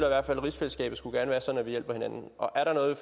at rigsfællesskabet gerne skulle være sådan at vi hjælper hinanden og er der noget